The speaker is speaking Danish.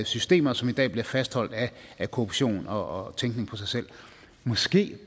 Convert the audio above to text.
systemer som i dag bliver fastholdt af korruption og tænkning på sig selv måske